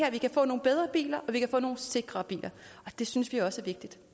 at vi kan få nogle bedre biler og vi kan få nogle sikrere biler det synes vi også